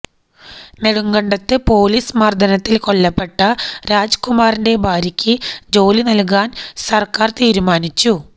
നെടുങ്കണ്ടത്ത് police മര്ദ്ദനത്തില് കൊല്ലപ്പെട്ട രാജ്കുമാറിന്റെ ഭാര്യക്ക് ജോലി നല്കാന് സര്ക്കാര് തീരുമാനിച്ചു